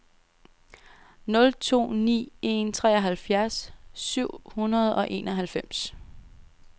nul to ni en treoghalvfjerds syv hundrede og enoghalvfems